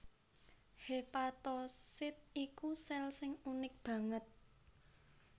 Hépatosit iku sèl sing unik banget